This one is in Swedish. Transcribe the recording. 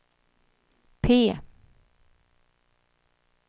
P